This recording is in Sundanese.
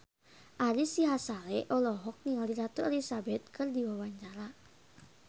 Ari Sihasale olohok ningali Ratu Elizabeth keur diwawancara